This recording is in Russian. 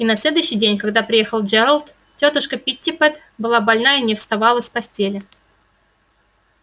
и на следующий день когда приехал джералд тётушка питтипэт была больна и не вставала с постели